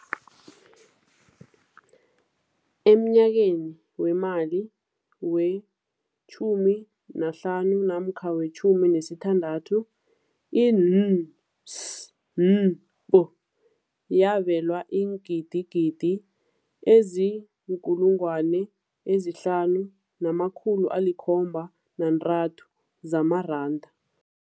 Emnyakeni weemali we-15 namkha we-16, i-NSNP yabelwa iingidigidi ezi-5 703 zamaranda.